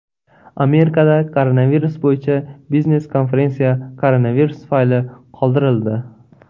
Amerikada koronavirus bo‘yicha biznes-konferensiya koronavirus tufayli qoldirildi.